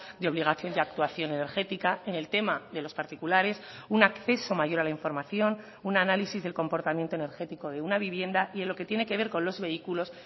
de obligación y actuación energética en el tema de los particulares un acceso mayor a la información un análisis del comportamiento energético de una vivienda y en lo que tiene que ver con los vehículos